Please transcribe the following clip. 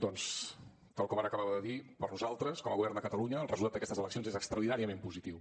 doncs tal com ara acabava de dir per nosaltres com a govern de catalunya el resultat d’aquestes eleccions és extraordinàriament positiu